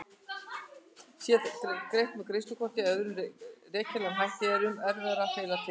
Sé greitt með greiðslukorti eða öðrum rekjanlegum hætti er mun erfiðara að fela tekjurnar.